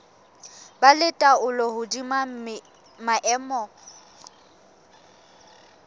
ba le taolo hodima maemo